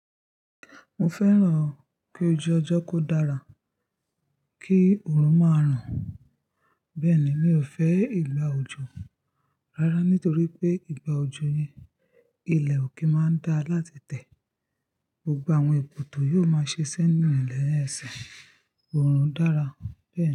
Mo fẹ́ràn kí ojú ọjọ́ kó dára, kí òòrùn máa ran. Bẹ́ẹ̀ ni, mi ò fẹ́ ìgbà òjò rárá nítorí pé ìgbà òjò ni ilẹ̀ ò ki n máa ń dá láti tẹ̀. Gbogbo àwọn èbútó yiò máa sẹ́ eniyan lẹ́ ẹsẹ̀. Òòrùn dára bẹ́ẹ̀ ni.